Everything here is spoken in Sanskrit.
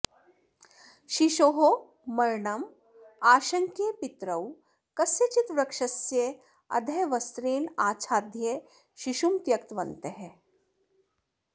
शिशोः मरणम् आशङ्क्य पितरौ कस्यचित् वृक्षस्य अधः वस्त्रेण आच्छाद्य शिशुं त्यक्तवन्तः